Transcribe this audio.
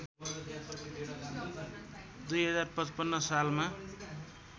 २०५५ सालमा